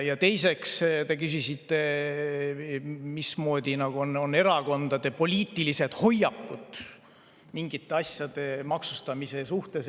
Teiseks, te küsisite, nagu erakondade poliitiliste hoiakute kohta mingite asjade maksustamise suhtes.